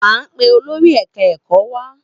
A n pe olórí ẹka ẹkọ wa